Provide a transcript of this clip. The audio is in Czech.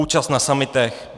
Účast na summitech.